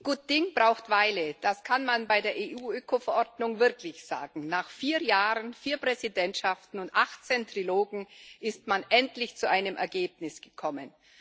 Herr Präsident! Gut Ding braucht Weile das kann man bei der EU Ökoverordnung wirklich sagen. Nach vier Jahren, vier Präsidentschaften und achtzehn Trilogen ist man endlich zu einem Ergebnis gekommen.